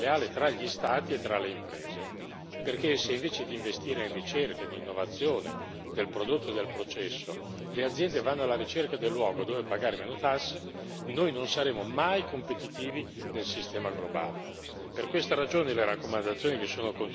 Nello stesso tempo ha preso corpo una concorrenza sleale tra gli Stati e tra le imprese, perché se invece di investire in ricerca ed innovazione del prodotto e del processo, le aziende vanno alla ricerca del luogo dove pagare meno tasse, noi non saremo mai competitivi nel sistema globale.